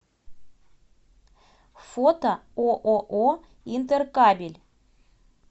фото ооо интеркабель